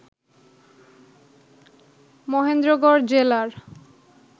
মহেন্দ্রগড় জেলার